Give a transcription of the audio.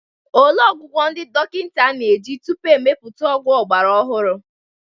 Olee ọgwụgwọ ndị dọkịta na-eji tupu e mepụta ọgwụ ọgbara ọhụrụ?